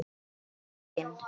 Einn daginn?